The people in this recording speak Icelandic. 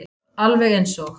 Alveg eins og